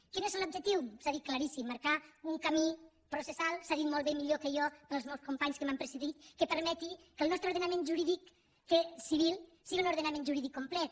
quin és l’objectiu s’ha dit claríssim marcar un camí processal s’ha dit molt bé millor que jo pels meus companys que m’han precedit que permeti que el nostre ordenament jurídic civil sigui un ordenament jurídic complet